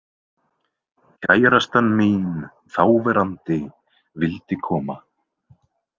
Kærastan mín þáverandi vildi koma.